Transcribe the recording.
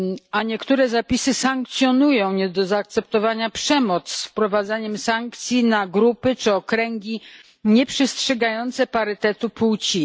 A niektóre zapisy sankcjonują nie do zaakceptowania przemoc z wprowadzaniem sankcji na grupy czy okręgi nieprzestrzegające parytetu płci.